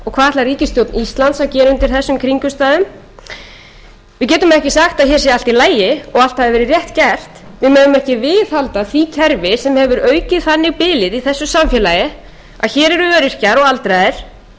ætlar ríkisstjórn íslands að gera undir þessum kringumstæðum við getum ekki sagt að hér sé allt í lagi og allt hafi verið rétt gert við megum ekki viðhalda því kerfi sem hefur aukið þannig bilið í þessu samfélagi að hér hefur verið og aldraðir með hundrað þrjátíu